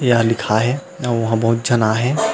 यहाँ लिखा हे अउ उहा बहुत झन आए हे